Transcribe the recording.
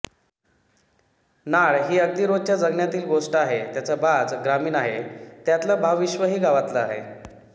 नाळ ही अगदी रोजच्या जगण्यातील गोष्ट आहे त्याचा बाज ग्रामीण आहे त्यातलं भावविश्वही गावातलं आहे